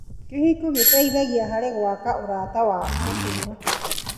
Kĩhiko gĩteithagia harĩ gwaka ũrata wa gũtũũra.